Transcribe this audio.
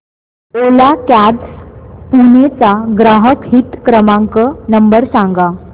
ओला cabs Pune चा ग्राहक हित क्रमांक नंबर सांगा